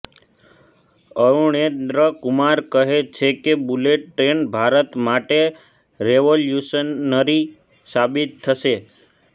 અરુણેંદ્ર કુમાર કહે છે કે બુલેટ ટ્રેન ભારત માટે રેવોલ્યુશનરી સાબિત થશે